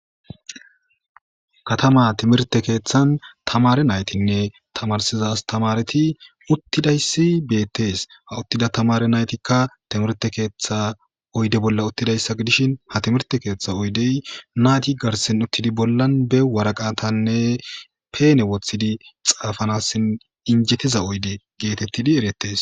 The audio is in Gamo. Katama timirte keeththan tamare naytinne tamarsiza astamareti uttidayssi beettees ha uttida tamare naytikka timirte keeththa oyde bolla uttidayssa gidishin ha timirte keeththa oydey naati garsen uttidi bollan be waraqatanne peene woththidi xaafanassin injettiza oyde geetettidi erettes.